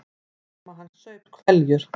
Mamma hans saup hveljur.